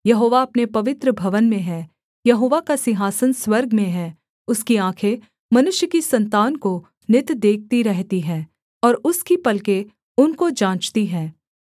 यहोवा अपने पवित्र भवन में है यहोवा का सिंहासन स्वर्ग में है उसकी आँखें मनुष्य की सन्तान को नित देखती रहती हैं और उसकी पलकें उनको जाँचती हैं